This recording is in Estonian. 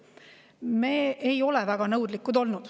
Me ei ole väga nõudlikud olnud.